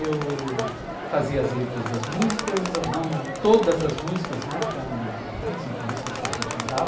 Eu fazia as letras das músicas, não todas as músicas, né, porque eram vinte e cinco músicas que a gente cantava.